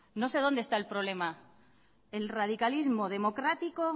no sé dónde está el problema el radicalismo democrático